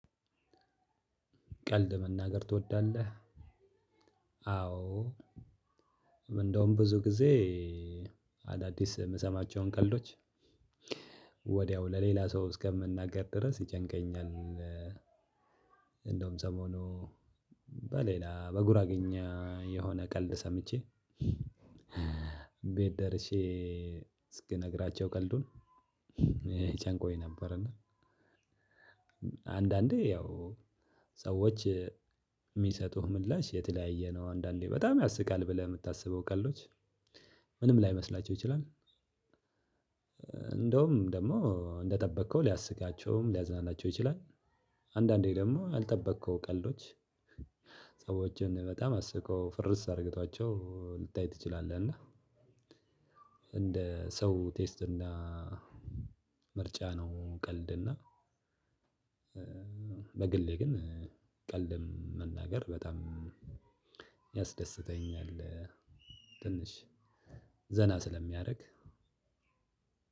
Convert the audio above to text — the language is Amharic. ቀልድ መናገር ትወዳለህ? አዎ እንደውም ብዙ ጊዜ አዳዲስ የምሰማቸውን ቀልዶች ወዲያው ለሌላ ሰው እስከምናገር ድረስ ይጨንቀኛል። እንደውም ሰሞኑ በሌላ በጉራገኛ የሆነ ቀልድ ሰምቼ ቤት ደርሼ እስክነግራቸው ቀልዱን ጨንቆኝ ነበር። እና አንዳንዴ ያው ሰዎች የሚሰጡህ ምላሽ የተለያየ ነው። አንዳንዴ በጣም ያስቃል ብለህ የምታስበው ቀልዶች ምንም ላይመስላቸው ይችላል። እ እንደውም ደግሞ እንደጠበከው ሊያስቃቸውም ሊያዝናናቸው ይችላል። አንዳንዴ ደግሞ ያልጠበከው ቀልዶች ሰዎችን በጣም አስቆ ፍርስ አድርጉአቸው ልታይ ትችላለህ። እና እንደ ሰው ቴስት እና ምርጫ ነው። ቀልድ እና በግሌ ግን ቀልድ መናገር በጣም የሚያስደስተኛል። ትንሽ ዘና ስለሚያደርግ